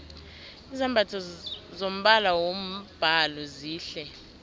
izambatho zombala wombhalo zihle